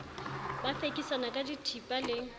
ba fekisana ka dithipa le